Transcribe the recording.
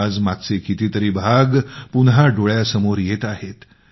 आज मागचे कितीतरी भाग पुन्हा डोळ्यासमोर येत आहेत